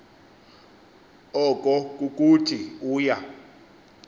oko kukuthi uya